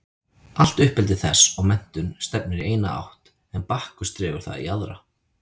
Allt uppeldi þess og menntun stefnir í eina átt en Bakkus dregur það í aðra.